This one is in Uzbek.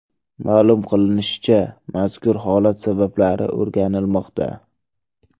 Ma’lum qilinishicha, mazkur holat sabablari o‘rganilmoqda.